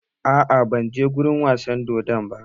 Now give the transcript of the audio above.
Aa, ban je wurin wasan dodon ba